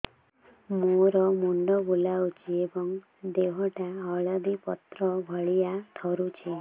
ମୋର ମୁଣ୍ଡ ବୁଲାଉଛି ଏବଂ ଦେହଟା କଦଳୀପତ୍ର ଭଳିଆ ଥରୁଛି